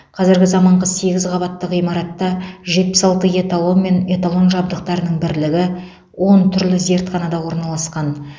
қазіргі заманғы сегіз қабатты ғимаратта жетпіс алты эталон мен эталон жабдықтарының бірлігі он түрлі зертханада орналасқан